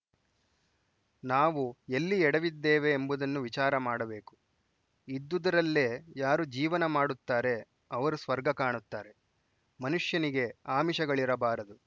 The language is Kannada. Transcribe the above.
ನಾವು ಎಲ್ಲಿ ಎಡವಿದ್ದೇವೆ ಎಂಬುದನ್ನು ವಿಚಾರ ಮಾಡಬೇಕು ಇದ್ದುದರಲ್ಲೇ ಯಾರು ಜೀವನ ಮಾಡುತ್ತಾರೆ ಅವರು ಸ್ವರ್ಗ ಕಾಣುತ್ತಾರೆ ಮನುಷ್ಯನಿಗೆ ಆಮಿಷಗಳಿರಬಾರದು